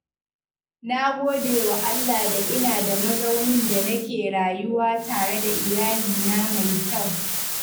Na gode wa Allah da ina da mazaunin da nake rayuwa tare da iyalina mai kyau.